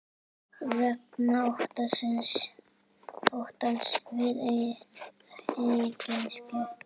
Vegna óttans við eigin sekt.